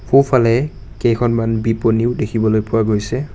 সোঁফালে কেইখনমান বিপনীও দেখিবলৈ পোৱা গৈছে।